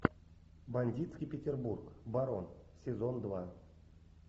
бандитский петербург барон сезон два